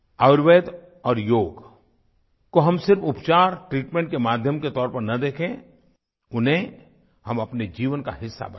आयुर्वेद और योग को हम सिर्फ उपचार ट्रीटमेंट के माध्यम के तौर पर न देखें उन्हें हम अपने जीवन का हिस्सा बनाएं